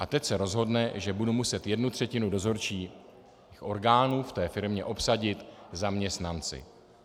A teď se rozhodne, že budu muset jednu třetinu dozorčích orgánů v té firmě obsadit zaměstnanci.